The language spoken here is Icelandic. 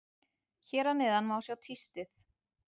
Hér að neðan má sjá tístið.